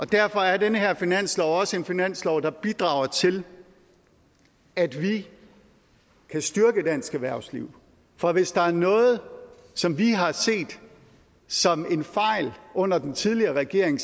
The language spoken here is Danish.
derfor er den her finanslov også en finanslov der bidrager til at vi kan styrke dansk erhvervsliv for hvis der er noget som vi har set som en fejl under den tidligere regering